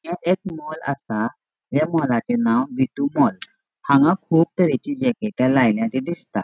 ये एक मॉल आसा या मॉलाचे नाव विटु मॉल हांगा कुब तरेची जॅकेटा लायला ते दिसता.